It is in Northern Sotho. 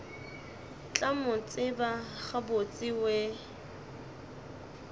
tla mo tseba gabotse we